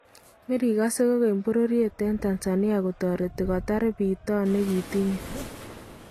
Marikase kokeny bororyeet en Tanzania kotoretii kotaar bitoon nekintiiy